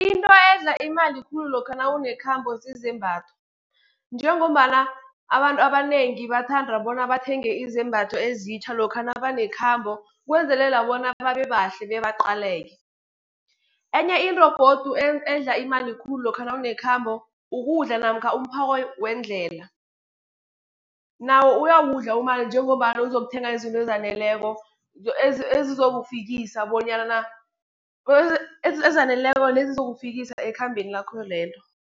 Into edla imali khulu lokha nawunekhabo zizembatho, njengombana abantu abanengi bathanda bona bathenge izembatho ezitjha, lokha nabanekhambo, kwenzelela bona babebahle bebaqaleke. Enye into godu edla imali khulu lokha nawunekhabo ukudla, namkha umphako wendlela, nawo uyawudla umali njengombana uzokuthenga izinto ezaneleko nezizokufikisa ekhambeni lakho lelo.